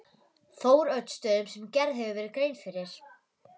Þóroddsstöðum sem gerð hefur verið grein fyrir.